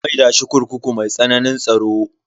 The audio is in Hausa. An maida shi kurkuku mai tsananin tsaro.